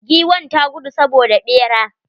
Giwn ta gudu saboda ɓera.